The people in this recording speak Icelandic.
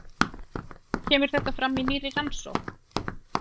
Kemur þetta fram í nýrri rannsókn